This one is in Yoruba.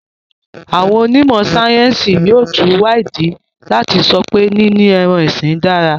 Àwọn onímọ̀-sáyẹ́ńsì yóò tún wá ìdí láti sọ pé níní ẹran-ọ̀sìn dára.